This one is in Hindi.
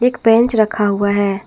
एक बेंच रखा हुआ है।